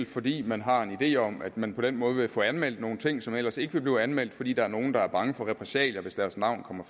fordi man har en idé om at man på den måde vil få anmeldt nogle ting som ellers ikke vil blive anmeldt fordi der er nogle der er bange for repressalier hvis deres navn kommer